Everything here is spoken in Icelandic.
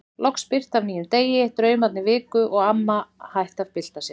Loks birti af nýjum degi, draumarnir viku og amma hætti að bylta sér.